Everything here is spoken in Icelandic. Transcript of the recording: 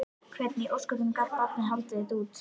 Hvernig í ósköpunum gat barnið haldið þetta út?